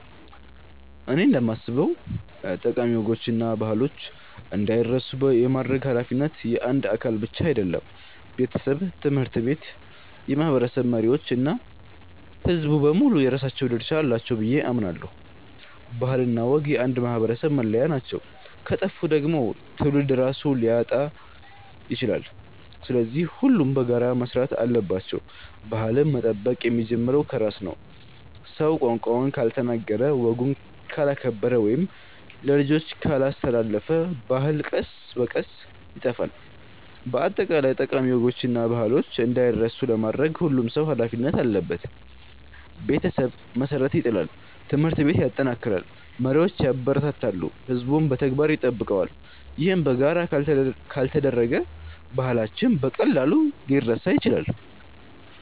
እኔ እንደማስበው ጠቃሚ ወጎችና ባህሎች እንዳይረሱ የማድረግ ኃላፊነት የአንድ አካል ብቻ አይደለም። ቤተሰብ፣ ትምህርት ቤት፣ የማህበረሰብ መሪዎች እና ሕዝቡ በሙሉ የራሳቸው ድርሻ አላቸው ብዬ አምናለሁ። ባህልና ወግ የአንድ ማህበረሰብ መለያ ናቸው፤ ከጠፉ ደግሞ ትውልድ ራሱን ሊያጣ ይችላል። ስለዚህ ሁሉም በጋራ መስራት አለባቸው። ባህልን መጠበቅ የሚጀምረው ከራስ ነው። ሰው ቋንቋውን ካልተናገረ፣ ወጉን ካላከበረ ወይም ለልጆቹ ካላስተላለፈ ባህሉ ቀስ በቀስ ይጠፋል። በአጠቃላይ ጠቃሚ ወጎችና ባህሎች እንዳይረሱ ለማድረግ ሁሉም ሰው ኃላፊነት አለበት። ቤተሰብ መሠረት ይጥላል፣ ትምህርት ቤት ያጠናክራል፣ መሪዎች ያበረታታሉ፣ ሕዝቡም በተግባር ይጠብቀዋል። ይህ በጋራ ካልተደረገ ባህላችን በቀላሉ ሊረሳ ይችላል።